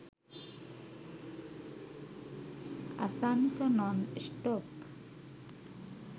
asanka non stop